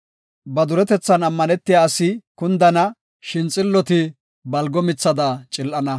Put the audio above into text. Ba duretetha ammanetiya asi kundana; shin xilloti balgo mithada.